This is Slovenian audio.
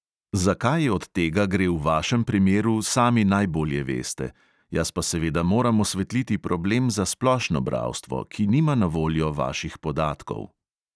Za kaj od tega gre v vašem primeru, sami najbolje veste, jaz pa seveda moram osvetliti problem za splošno bralstvo, ki nima na voljo vaših podatkov.